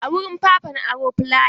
A wurin Papa na aro flaya.